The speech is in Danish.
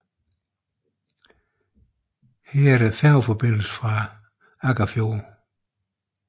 Her er der færgeforbindelse fra Akkarfjord